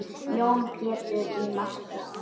Jón Pétur í markið!